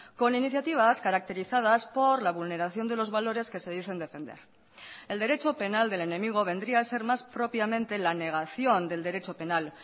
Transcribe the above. con iniciativas caracterizadas por la vulneración de los valores que se dicen defender el derecho penal del enemigo vendría a ser más propiamente la negación del derecho penal